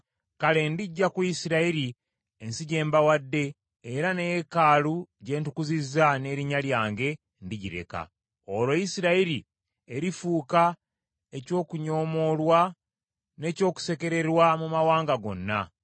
kale ndiggya ku Isirayiri ensi gye mbawadde era ne yeekaalu gye ntukuzizza n’erinnya lyange ndigireka. Olwo Isirayiri erifuuka eky’okunyoomoolwa n’ekyokusekererwa mu mawanga gonna.